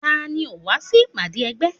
Tani ò wá sí ìpàdé ẹgbẹ́?